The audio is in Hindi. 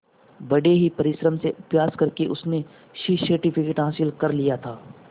बड़े ही परिश्रम से अभ्यास करके उसने सी सर्टिफिकेट हासिल कर लिया था